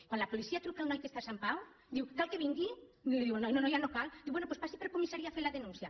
quan la policia truca al noi que està a sant pau diu cal que vingui i li diu el noi no no ja no cal diu bé doncs passi per comissa·ria a fer la denúncia